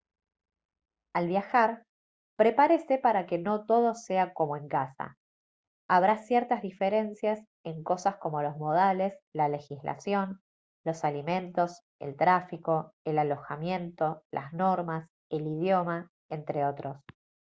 al viajar prepárese para que no todo sea como «en casa». habrá ciertas diferencias en cosas como los modales la legislación los alimentos el tráfico el alojamiento las normas el idioma entre otros